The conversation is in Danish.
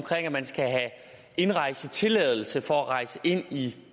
at man skal have indrejsetilladelse for at rejse ind i